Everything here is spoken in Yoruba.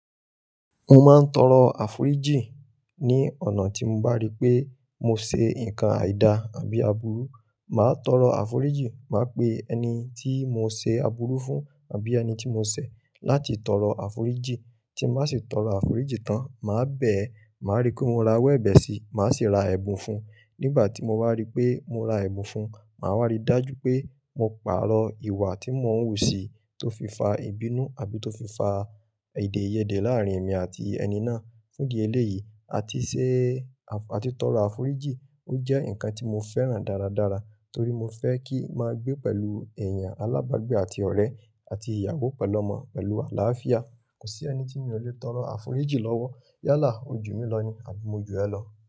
Mo máa ń tọrọ àforíjì ní ọ̀nà tí mo bá rí pé mo ṣe nǹkan àìda àbí aburu. Màá tọrọ àforíjì, màá pe ẹni tí mo ṣe aburu fún àbí ẹni tí mo ṣẹ̀ láti tọrọ àforíjì. Tí má sì tọrọ àforíjì tán, màá bẹ̀ ẹ, màá rí pé mo ra ọwọ́ ẹ̀bẹ̀ sí, màá sì ra ẹ̀bùn fún un. Nígbà tí mo bá rí pé mo ra ẹ̀bùn fún un, màá wá rí dájú pé mo pàrọ̀ ìwà tí mò n wù sí tó fi fa ìbínú àbí tó fi fa èdèyẹdẹ láàrín èmi àti ẹni náà. Fún di eléyìí, àti ṣe, àti tọrọ àforíjì, ó jẹ́ nǹkan tí mo fẹ́ràn dáradára torí mo fẹ́ kí a máa gbé pẹ̀lú èèyàn alábágbé àti ọ̀rẹ́ àti ìyàwó pẹ̀lú ọmọ pẹ̀lú àlàáfíà. Kò sí ẹni tí mi ò lè tọrọ àforíjì lọ́wọ́. Yálà, ojú mi lọ ni àbí mo ju ẹ lọ.